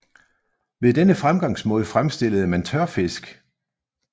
Ved denne fremgangsmåde fremstillede man tørfisk